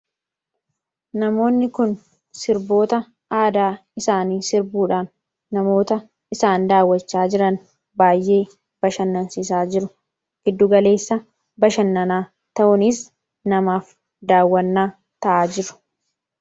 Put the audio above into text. Namoonni kun sirboota aadaa isaani sirbuudhan namoota isaan daawwachaa jiran bashannansiisaa jiru. Giddugaleessa bashannanaa ta'uunis namaaf daawwannaa ta'aa jiru.